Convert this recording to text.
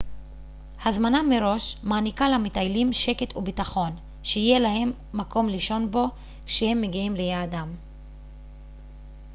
הזמנה מראש מעניקה למטיילים שקט ובטחון שיהיה להם מקום לישון בו כשהם מגיעים ליעדם